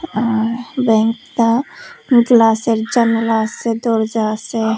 আঃ ব্যাংকতা গ্লাসের জানালা আছে দরজা আছে।